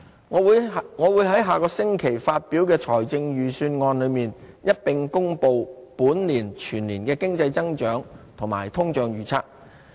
我會在下個星期發表的財政預算案裏，一併公布本年全年的經濟增長和通脹預測。